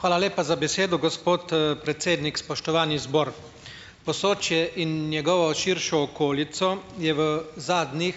Hvala lepa za besedo, gospod, predsednik. Spoštovani zbor! Posočje in njegovo širšo okolico je v zadnjih